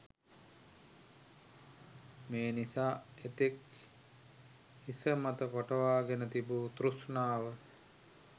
මේ නිසා එතෙක් හිසමත පටවාගෙන තිබූ තෘෂ්ණාව